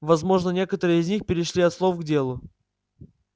возможно некоторые из них перешли от слов к делу